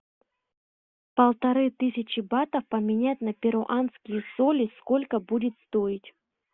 полторы тысячи батов поменять на перуанские соли сколько будет стоить